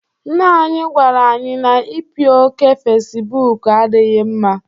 Nna anyị gwara anyị na ipi oké Fecibuuku adịghị mma.